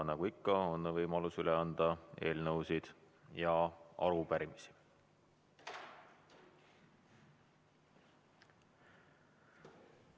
Nagu ikka on võimalus üle anda eelnõusid ja arupärimisi.